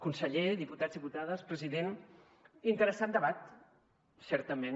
conseller diputats diputades president interessant debat certament